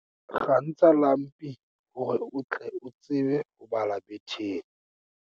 kgantsha lampi hore o tle o tsebe ho bala betheng